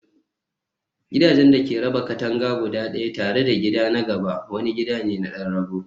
gidajen da ke raba katanga guda ɗaya tare da gida na gaba wani gida ne na ɗan rago.